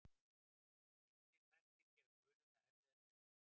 Ýmsir þættir geta gert guluna erfiðari viðfangs.